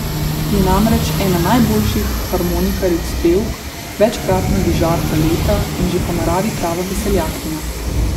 Je namreč ena najboljših harmonikaric pevk, večkratna vižarka leta in že po naravi prava veseljakinja.